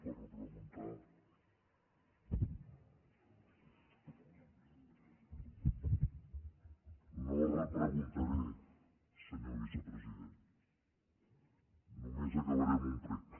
no repreguntaré senyor vicepresident només acabaré amb un prec